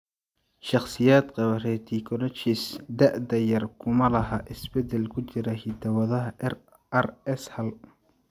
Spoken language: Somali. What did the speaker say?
Shakhsiyaadka qaba retinoschisis da'da yar kuma laha isbedel ku jira hidda-wadaha RS hal.